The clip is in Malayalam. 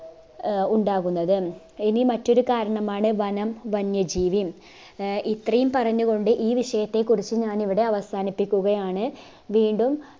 ആഹ് ഉണ്ടാകുന്നത് ഇനി മറ്റൊരു കാരണമാണ് വനം വന്യജീവി ആഹ് ഇത്രയും പറഞ്ഞുകൊണ്ട് ഈ വിഷയത്തെകുറിച്ച് ഞാനിവിടെ അവസാനിപ്പിക്കുകയാണ് വീണ്ടും